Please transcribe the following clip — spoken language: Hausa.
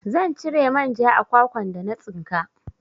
Zan cire manja a kwakwan da na tsinka